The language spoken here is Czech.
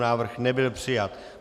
Návrh nebyl přijat.